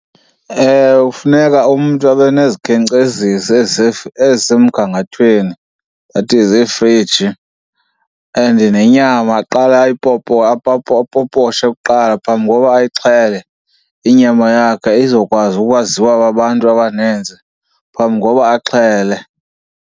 Ewe, funeka umntu abe nezikhenkcezisi ezisemgangathweni, that is iifriji. And nenyama aqale apoposhe kuqala phambi kokuba ayixhele inyama yakhe, izokwazi ukwaziwa kwabantu abaninzi phambi koba axhele.